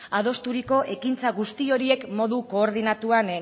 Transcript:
adosturiko ekintza guzti horiek modu koordinatuan